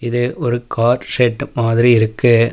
இது ஒரு car shed மாதிரி இருக்கு.